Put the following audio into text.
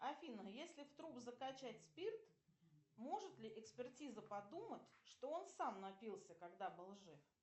афина если в труп закачать спирт может ли экспертиза подумать что он сам напился когда был жив